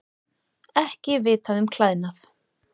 Ekki vitað um klæðnað